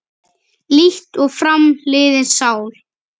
Líkt og fram liðin sál.